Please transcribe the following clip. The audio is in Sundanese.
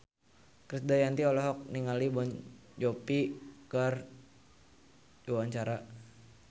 Krisdayanti olohok ningali Jon Bon Jovi keur diwawancara